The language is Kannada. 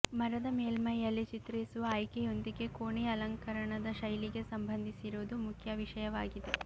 ಮರದ ಮೇಲ್ಮೈಯಲ್ಲಿ ಚಿತ್ರಿಸುವ ಆಯ್ಕೆಯೊಂದಿಗೆ ಕೋಣೆಯ ಅಲಂಕರಣದ ಶೈಲಿಗೆ ಸಂಬಂಧಿಸಿರುವುದು ಮುಖ್ಯ ವಿಷಯವಾಗಿದೆ